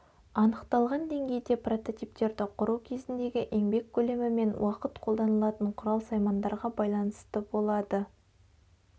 анықталған деңгейде прототиптерді құру кезіндегі еңбек көлемі мен уақыт қолданылатын құрал-саймандарға байланысты болады